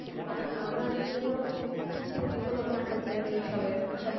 আহ আমরা নিজেরাও যদি প্রতিফলন না করতে পারি এ সবের, এ সব